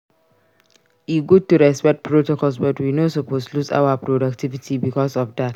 E good to respect protocols but we no suppose lose our productivity bicos of dat.